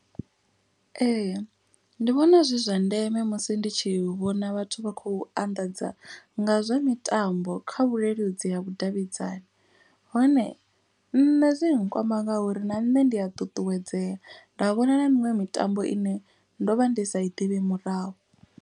Ee ndi vhona zwi zwa ndeme musi ndi tshi vhona vhathu vha khou anḓadza nga zwa mitambo. Kha vhuleludzi ha vhudavhidzani hone nṋe zwi nkwama ngauri na nṋe ndi a ṱuṱuwedzea. Nda vhona na miṅwe mitambo ine ndo vha ndi sa i ḓivhi murahu.